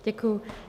Děkuju.